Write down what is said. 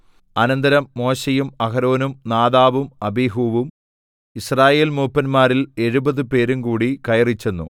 അനന്തരം മോശെയും അഹരോനും നാദാബും അബീഹൂവും യിസ്രായേൽമൂപ്പന്മാരിൽ എഴുപത് പേരുംകൂടി കയറിച്ചെന്നു